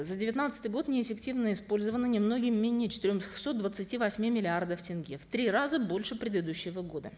за девятнадцатый год неэффективно использовано немногим менее четырехсот двадцати восьми миллиардов тенге в три раза больше предыдущего года